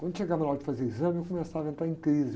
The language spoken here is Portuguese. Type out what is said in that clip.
Quando chegava na hora de fazer exame, eu começava a entrar em crise.